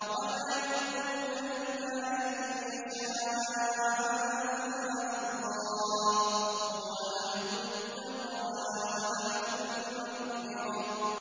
وَمَا يَذْكُرُونَ إِلَّا أَن يَشَاءَ اللَّهُ ۚ هُوَ أَهْلُ التَّقْوَىٰ وَأَهْلُ الْمَغْفِرَةِ